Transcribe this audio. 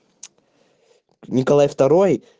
николай второй